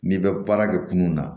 N'i bɛ baara kɛ kunun na